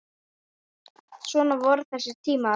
Svona voru þessi tímar.